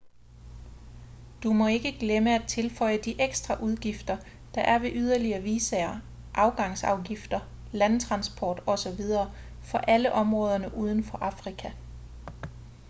du må ikke glemme at tilføje de ekstra udgifter der er ved yderligere visaer afgangsafgifter landtransport osv for alle områderne uden for afrika